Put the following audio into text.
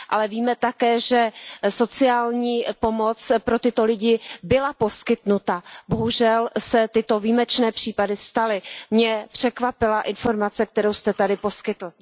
Ale víme také, že sociální pomoc pro tyto lidi byla poskytnuta, bohužel se tyto výjimečné případy staly. Mě překvapila informace, kterou jste tady poskytl.